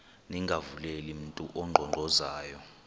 ningavuleli mntu unkqonkqozayo